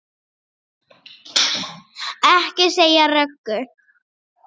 Ekki segja Röggu!